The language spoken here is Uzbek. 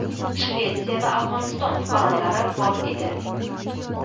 Shvetsiya va Afg‘oniston fuqarolari bor edi.